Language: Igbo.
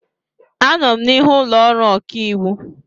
Anọ m n'ihu ụlọ ọrụ ọkaiwu.